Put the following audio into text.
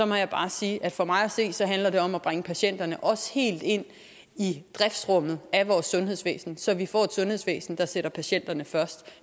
må jeg bare sige at for mig at se handler det om at bringe patienterne helt ind i driftsrummet af vores sundhedsvæsen så vi får et sundhedsvæsen der sætter patienterne først